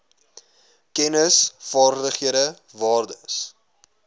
kennis vaardighede waardes